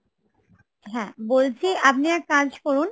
বলছি আপনি এক কাজ করুন